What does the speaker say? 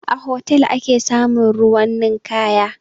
A hotal ake samun ruwan ninkaya